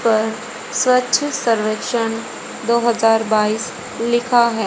पर स्वच्छ सर्वेक्षण दो हजार बाइस लिखा है।